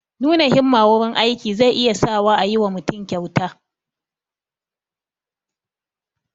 Nuna himmaa wurin aiki zai iya sa wa a yi wa mutum kyauta